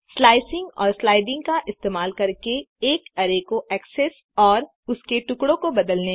slicing और striding का इस्तेमाल करके एक अरै को एक्सेस और उसके टुकड़ों को बदलने में